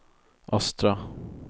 östra